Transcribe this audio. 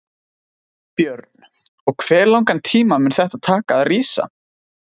Björn: Og hve langan tíma mun þetta taka að rísa?